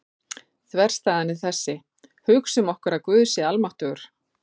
Þverstæðan er þessi: Hugsum okkur að Guð sé almáttugur.